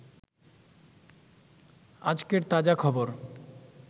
আজকের তাজা খবর